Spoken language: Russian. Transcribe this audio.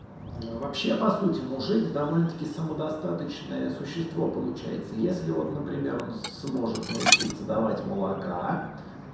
вообще по сути мужик довольно-таки самодостаточное существо получается если вот например он сможет научиться давать молока